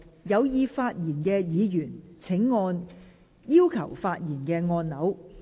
有意發言的議員請按下"要求發言"按鈕。